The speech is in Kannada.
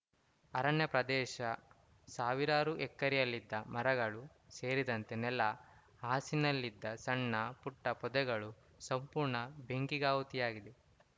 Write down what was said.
ಅರಣ್ಯ ಪ್ರದೇಶ ಸಾವಿರಾರು ಎಕರೆಯಲ್ಲಿದ್ದ ಮರಗಳು ಸೇರಿದಂತೆ ನೆಲ ಹಾಸಿನಲ್ಲಿದ್ದ ಸಣ್ಣ ಪುಟ್ಟಪೊದೆಗಳು ಸಂಪೂರ್ಣ ಬೆಂಕಿಗಾಹುತಿಯಾಗಿದೆ